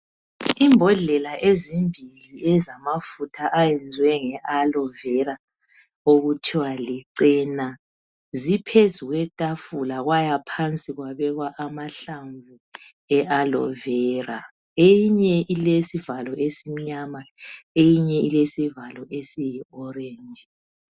Imbodlela ezimbili ezamafutha ayenziwe nge aloe vera okuthiwa licena ziphezu kwetafula kwaya phansi kwabekwa amahlamvu e aloe vera , eyinye ilesivalo esimnyama eyinye ilesivalo esiyi orange